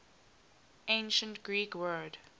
ancient greek word